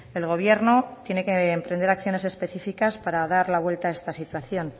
el gobierno tiene que emprender acciones específicas para dar la vuelta a esta situación